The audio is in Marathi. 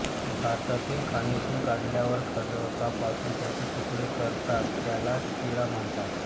भारतातील खाणीतून काढल्यावर खडकापासून त्याचे तुकडे करतात त्याला चिरा म्हणतात